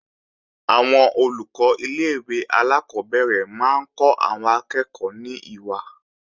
Àwọn Olùkọ́ ilé-ìwé alákọ́bẹ̀rẹ̀ máa ń kọ́ àwọn akẹ́ẹ̀kọ́ ní ìwà